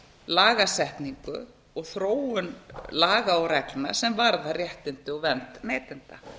lagasetningu og þróun laga og reglna sem varða réttindi og vernd neytenda